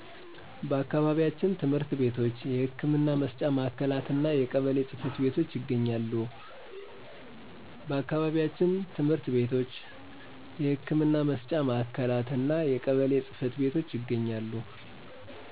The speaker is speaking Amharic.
ትምህርት ቤቶች የህክምና መስጫ ማዕከላት እና የቀበሌ ጽ/ቤቶች ይገኛሉ